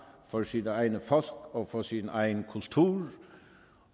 for sit eget folk og for sin egen kultur